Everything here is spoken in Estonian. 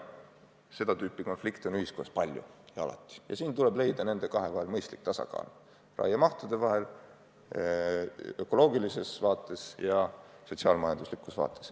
Seda tüüpi konflikte on ühiskonnas palju ja siin tuleb leida nende kahe paketi vahel mõistlik tasakaal: tasakaal raiemahtude ja ökoloogiliste väärtuste vahel.